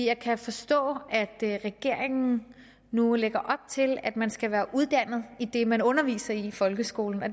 jeg kan forstå at regeringen nu lægger op til at man skal være uddannet i det man underviser i i folkeskolen